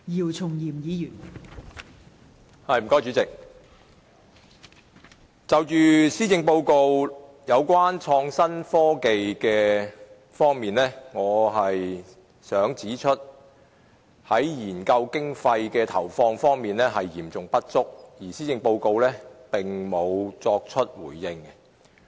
代理主席，在創新科技方面，我想指出政府的研究經費投放嚴重不足，而施政報告並未就此作出回應。